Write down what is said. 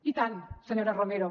i tant senyora romero